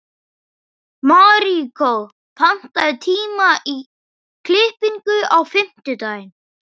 Maríkó, pantaðu tíma í klippingu á fimmtudaginn.